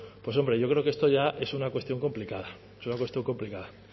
hombre yo creo que esto ya es una cuestión complicada es una cuestión complicada